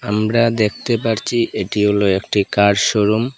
আমরা দেখতে পারছি এটি হলো একটি কার শোরুম ।